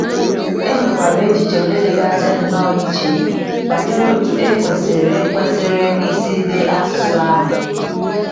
E nwekwara echiche ndị dịgasị nnọọ iche banyere otú e kwesịrị kwesịrị isi dee asụsụ ahụ.